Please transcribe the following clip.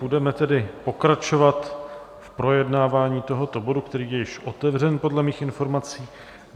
Budeme tedy pokračovat v projednávání tohoto bodu, který je již otevřen podle mých informací.